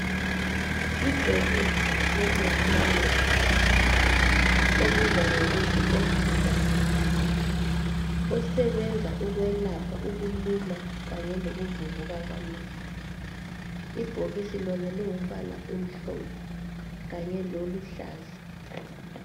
Ibhokisi lomuthi wamehlo obizwa kuthiwe Optidine osebenza okwelapha ukuluma kanye lokuvuvuka okwamehlo ibhokisi loba lingumbala omhlophe kanye lokukuluhlaza